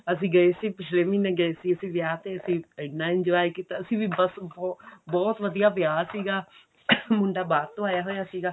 ਅਸੀਂ ਗਏ ਸੀ ਪਿਛਲੇ ਮਹੀਨੇ ਗਏ ਸੀ ਅਸੀਂ ਵਿਆਹ ਤੇ ਅਸੀਂ ਇੰਨਾ enjoy ਕੀਤਾ ਅਸੀਂ ਵੀ ਬੱਸ ਬਹੁਤ ਵਧੀਆ ਵਿਆਹ ਸੀਗਾ ਮੁੰਡਾ ਬਾਹਰ ਤੋਂ ਆਇਆ ਸੀਗਾ